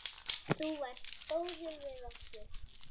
Þú varst góður við okkur.